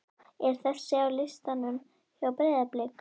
er þessi á listanum hjá Breiðablik?